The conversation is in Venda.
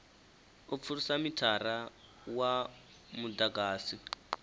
u pfulusa mithara wa mudagasi